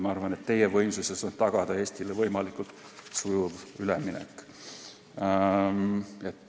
Ma arvan, et teie võimuses on tagada Eestile võimalikult sujuv üleminek.